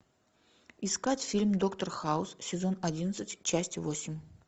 искать фильм доктор хаус сезон одиннадцать часть восемь